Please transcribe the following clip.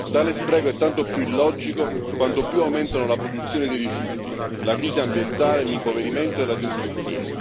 Tale spreco è tanto più illogico quanto più aumentano la produzione dei rifiuti, la crisi ambientale, l'impoverimento e la denutrizione.